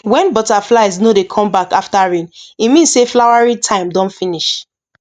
when butterflies no dey come back after rain e mean say flowering time don finish